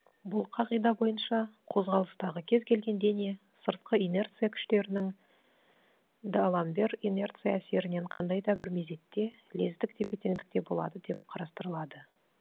бұл қағида бойынша қозғалыстағы кез келген дене сыртқы инерция күштерінің д аламбер инерция әсерінен қандай да бір мезетте лездік тепе теңдікте болады деп қарастырылады